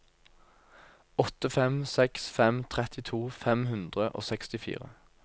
åtte fem seks fem trettito fem hundre og sekstifire